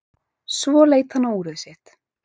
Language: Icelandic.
Svo leit hann á úrið sitt.